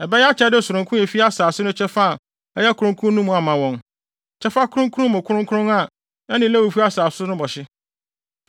Ɛbɛyɛ akyɛde sononko a efi asase no kyɛfa a ɛyɛ kronkron no mu ama wɔn, kyɛfa kronkron mu kronkron a ɛne Lewifo asase no bɔ hye.